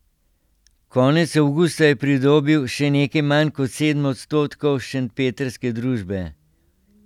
Konec avgusta je pridobil še nekaj manj kot sedem odstotkov šempetrske družbe.